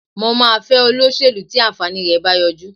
Mo máa fẹ́ olóṣèlú tí àǹfààní rẹ̀ bá yọjú